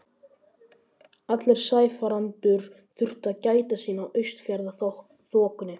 Allir sæfarendur þurftu að gæta sín á Austfjarðaþokunni.